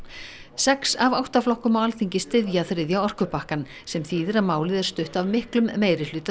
sex af átta flokkum á Alþingi styðja þriðja orkupakkann sem þýðir að málið er stutt af miklum meirihluta